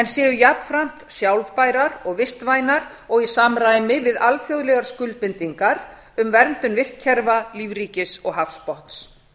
séu jafnframt sjálfbærar og vistvænar og í samræmi við alþjóðlegar skuldbindingar um verndun vistkerfa lífríkis og hafsbotns